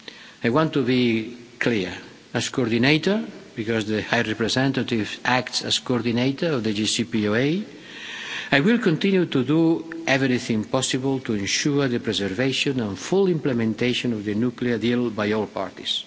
I want to be clear, as coordinator because the High Representative acts as coordinator of the JCPOA I will continue to do everything possible to ensure the preservation and full implementation of the nuclear deal by all parties.